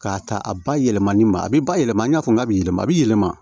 K'a ta a ba yɛlɛmali ma a be ba yɛlɛma i n'a fɔ k'a bi yɛlɛma a bi yɛlɛma